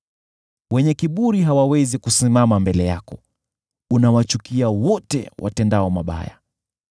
Wenye kiburi hawawezi kusimama mbele yako, unawachukia wote watendao mabaya.